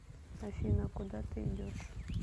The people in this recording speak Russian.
афина куда ты идешь